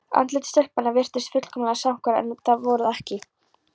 Andlit stelpnanna virtust fullkomlega samhverf en voru það ekki.